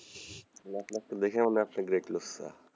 না আপনার তো মনে হয় আপনি great লুইচ,